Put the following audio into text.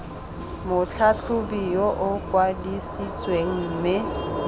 motlhatlhobi yo o kwadisitsweng mme